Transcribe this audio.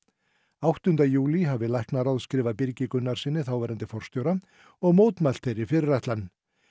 áttunda júlí hafi læknaráð skrifað Birgi Gunnarssyni þáverandi forstjóra og mótmælt þeirri fyrirætlan